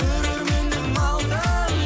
көрерменім алтын